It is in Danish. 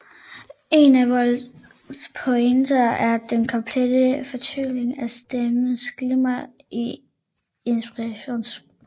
En af Wolters pointer er den komplette forvitring af stenens glimmer i inskriptionsrillerne